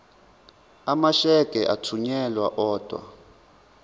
amasheke athunyelwa odwa